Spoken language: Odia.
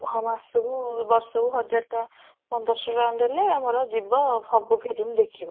ହଁ ମାସ କୁ ବର୍ଷ କୁ ହଜାର ଟଙ୍କା ପନ୍ଦର ଶହ ଟଙ୍କା ଦେଲେ ଆମର ଯିବ ସବୁ film ଦେଖିବ